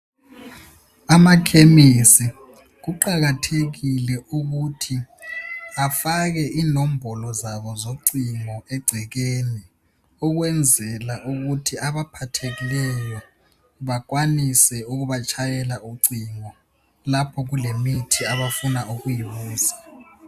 Amakhemisi kuqakathekile ukuthi afake inombolo zabo zocingo egcekeni ukwenzela ukuthi abaphathekileyo bakwanise ukubatshayela ucingo lapho kulemithi abafuna ukuyibuza.